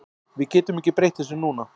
Við getum ekki breytt þessu núna.